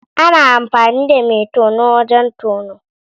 Ana amfani da mai tono wajen tono.